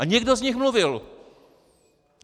A někdo z nich mluvil!